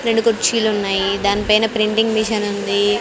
రెండు కుర్చీలు ఉన్నాయి దాని పైన ప్రింటింగ్ మెషిన్ ఉంది.